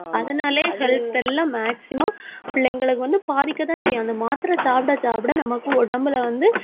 அதனாலயே health எல்லாம் maximum பிள்ளைங்களுக்கு வந்து பாதிக்கத்தான் செய்யும். அந்த மாத்திரை சாப்பிட, சாப்பிட நமக்கு உடம்புல வந்து,